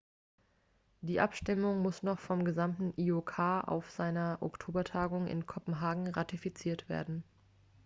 die abstimmung muss noch vom gesamten iok auf seiner oktobertagung in kopenhagen ratifiziert werden